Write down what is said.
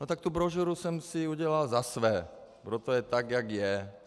No tak tu brožuru jsem si udělal za své, proto je tak, jak je.